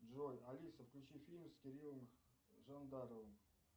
джой алиса включи фильм с кириллом жандаровым